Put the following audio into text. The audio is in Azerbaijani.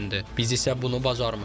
Biz isə bunu bacarmışıq.